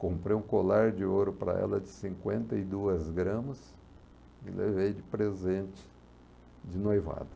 Comprei um colar de ouro para ela de cinquenta e duas gramas e levei de presente de noivado.